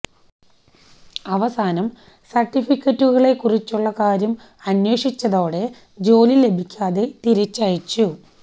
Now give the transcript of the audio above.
അവസാനം സര്ട്ടിഫിക്കറ്റുകളെ കുറച്ചുള്ള കാര്യം അന്വേഷിച്ചതോടെ ജോലി ലഭിക്കാതെ തിരിച്ചയച്ചു